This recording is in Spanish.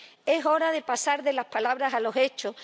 Es hora de pasar de las palabras a los hechos.